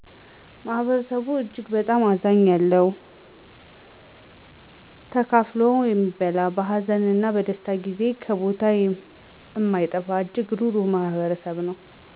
ማህበረሰቡ በጣም እጅግ አዛኛ ያለው ለለው ተካፋሎ እሚበላ በሀዘን እነ በደስታ ጊዜ ከቦታው እማይጠፋ እጅግ ሩሩህ ማህበረሰብ ነው።